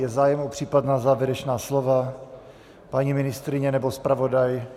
Je zájem o případná závěrečná slova - paní ministryně nebo zpravodaj?